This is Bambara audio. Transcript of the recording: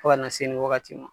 fɔ ka na se nin wagati ma.